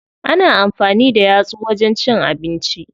Ana amfani da yatsu wajen cin abinci.